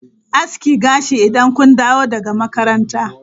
Aski gashi idan kun dawo daga makaranta!